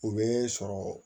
O bɛ sɔrɔ